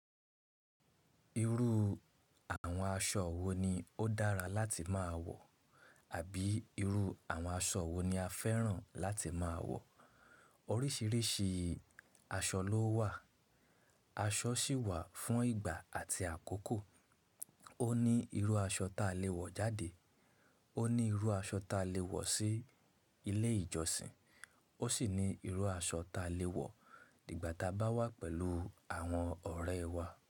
Irú àwọn aṣọ wo ni ó dára láti máa wọ̀ àbí irú àwọn aṣọ wo ni a fẹ́ràn láti máa wọ̀? Oríṣiríṣi aṣọ ló wà. Aṣọ sì wà fún ìgbà àti àkókò. Ó ní irú aṣọ ta lè wọ̀ jáde, ó ní irú aṣọ ta lè wọ̀ sí ilé ìjọsìn, ó sì ní irú aṣọ ta lè wọ̀ nígbà ta bá wà pẹ̀lú àwọn ọ̀rẹ́ wa.